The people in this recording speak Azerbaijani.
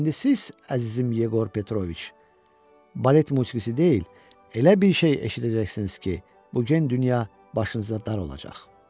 İndi siz, əzizim Yeqor Petroviç, balet musiqisi deyil, elə bir şey eşidəcəksiniz ki, bu gen dünya başınıza dar olacaq.